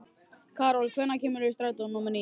Karol, hvenær kemur strætó númer níu?